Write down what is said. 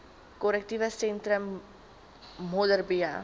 korrektiewe sentrum modderbee